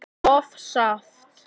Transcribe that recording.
og saft.